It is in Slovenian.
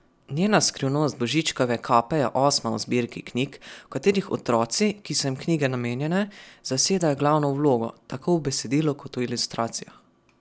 Njena Skrivnost Božičkove kape je osma v zbirki knjig, v katerih otroci, ki so jim knjige namenjene, zasedajo glavno vlogo, tako v besedilu kot v ilustracijah.